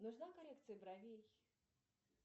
нужна коррекция бровей